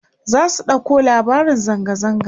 za su ɗauko labarin zanga zanga